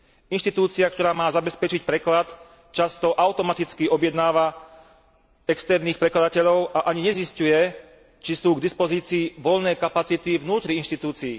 Inštitúcia, ktorá ma zabezpečiť preklad, často automaticky objednáva externých prekladateľov a ani nezisťuje, či sú k dispozícií voľné kapacity vnútri inštitúcií.